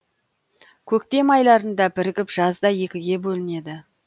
көктем айларында бірігіп жазда екіге бөлінеді